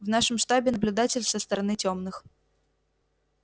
в нашем штабе наблюдатель со стороны тёмных